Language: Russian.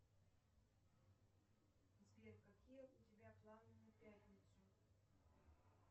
сбер какие у тебя планы на пятницу